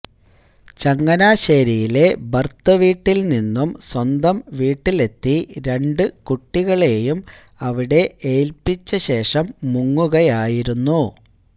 ചങ്ങനാശ്ശേരിയിലെ ഭര്ത്തൃവീട്ടില് നിന്നും സ്വന്തം വീട്ടിലെത്തി രണ്ടു കുട്ടികളെയും അവിടെ ഏല്പ്പിച്ചശേഷം മുങ്ങുകയായിരുന്നു